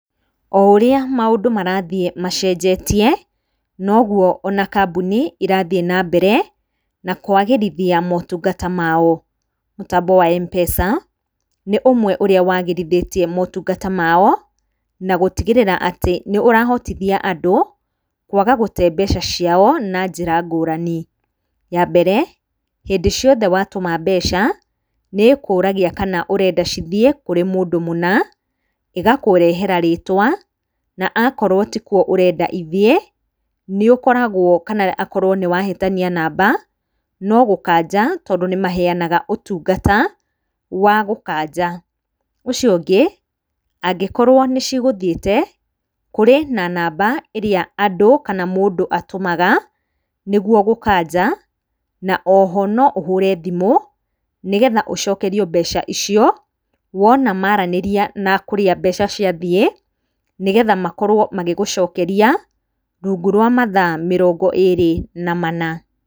O ũrĩa maũndũ marathiĩ macenjetie, no guo ona kambuni irathiĩ na mbere, na kũagĩrithia motungata mao. Mũtambo wa M-Pesa nĩ ũmwe ũrĩa wagĩrithĩtie motungata mao na gũtigĩrĩra atĩ nĩ ũrahotithia andũ kũaga gũte mbeca ciao na njĩra ngũrani. Ya mbere, hĩndĩ ciothe watũma mbeca, nĩ ĩkũragia kana ũrenda cithiĩ kũrĩ mũndũ mũna, ĩgakũrehera rĩtwa, na wakorwo tikuo ũrenda ithiĩ, nĩ ũkoragwo kana akorwo nĩ wahĩtania namba no gũkanja to nĩ maheanaga ũtungata wa gũkanja. Ũcio ũngĩ, angĩkorwo nĩ cigũthiete, kũrĩ na namba ĩrĩa andũ kana mũndũ atũmaga nĩ guo gũkanja, na oho no ũhũre thimũ nĩ getha ũcokerio mbeca icio wona maranĩria na kũrĩa mbeca ciathiĩ, nĩ getha makorwo magĩgũcokeria rungu rwa mathaa mĩrongo ĩrĩ na mana.